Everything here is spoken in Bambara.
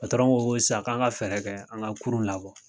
ko ko sisan an ka fɛɛrɛ kɛ an ka kurun labɔ.